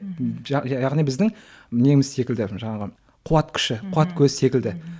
мхм яғни біздің неміз секілді жаңағы қуат күші қуат көзі секілді мхм